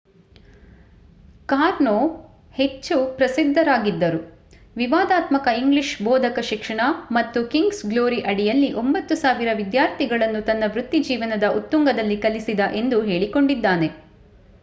ಕಾರ್ನೋ ಹೆಚ್ಚಿ ಪ್ರಸಿದ್ಧಿಯಾಗಿದ್ದರು ವಿವಾದಾತ್ಮಕ ಇಂಗ್ಲಿಷ್ ಬೋಧಕ ಶಿಕ್ಷಣ ಮತ್ತು ಕಿಂಗ್ಸ್ ಗ್ಲೋರಿ ಅಡಿಯಲ್ಲಿ 9,000 ವಿದ್ಯಾರ್ಥಿಗಳನ್ನು ತನ್ನ ವೃತ್ತಿಜೀವನದ ಉತ್ತುಂಗದಲ್ಲಿ ಕಲಿಸಿದ ಎಂದು ಹೇಳಿಕೊಂಡಿದ್ದಾನೆ